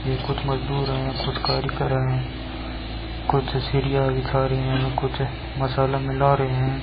ये कुछ मजदूर हैं कुछ कार्य कर रहे हैं कुछ सरिया बिछा रहे हैं कुछ मसाला मिला रहे हैं।